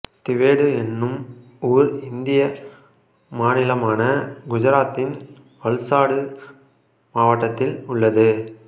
திவேது என்னும் ஊர் இந்திய மாநிலமான குஜராத்தின் வல்சாடு மாவட்டத்தில் உள்ளது